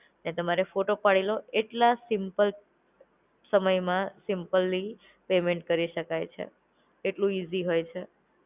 ને તમારે ફોટો પડેલો એટલા સિમ્પલ સમયમાં સિમ્પલી પેમેન્ટ કરી શકાય છે. એટલું ઇઝી હોય છે.